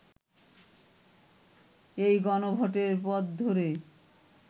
এই গণভোটের পথ ধরে